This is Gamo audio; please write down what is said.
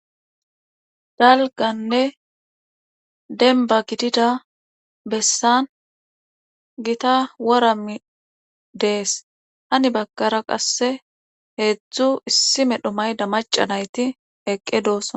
Dalgganne dembba gidida bessan gita woranni dees hani baggara qassi heedzdzu issi medho mayida macca nayti eqqi dooso.